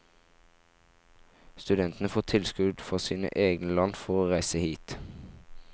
Studentene får tilskudd fra sine egne land for å reise hit.